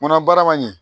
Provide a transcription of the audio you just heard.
Ŋɔnɔ baara ma ɲɛ